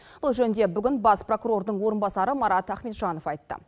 бұл жөнінде бүгін бас прокурордың орынбасары марат ахметжанов айтты